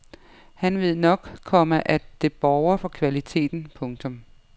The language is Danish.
Han ved nok, komma at det borger for kvaliteten. punktum